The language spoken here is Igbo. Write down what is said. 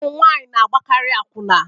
Ụmụ nwanyị na-agbakarị akwụna